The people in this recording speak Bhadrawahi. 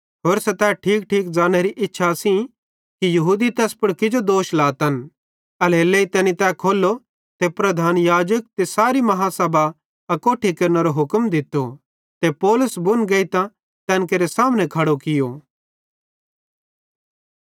होरसां तै ठीकठीक ज़ान्नेरी इच्छा सेइं कि यहूदी तैस पुड़ किजो दोष लातन एल्हेरेलेइ तैनी तै खोल्लो ते प्रधान याजक ते सारी पंचायत अकोट्ठी केरनेरो हुक्म दित्तो ते पौलुस बुन गेइतां तैन केरे सामने खड़ो कियो